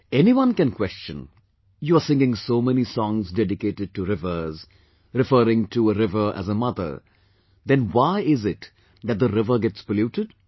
Anyone can question "you are singing so many songs dedicated to rivers, referring to a river as a Mother...then why is it that the river gets polluted